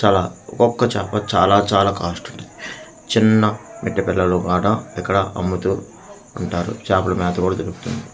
చాలా ఒకొక్క చేప చాలా చాలా కోస్ట్ ఉంటుంది చిన్న మిట్టే పెడల్లో ఒక కాడ ఇక్కడ అమ్ముతూ ఉంటారు చేపల మేత కూడా దొరుకుతుంది.